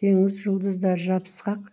теңіз жұлдыздары жабысқақ